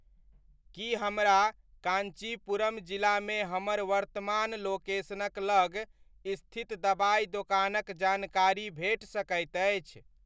की हमरा कान्चीपुरम जिलामे हमर वर्तमान लोकेशनक लग स्थित दबाइ दोकानक जानकारी भेट सकैत अछि?